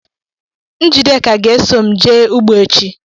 Njideka ga-eso m jee ugbo echi.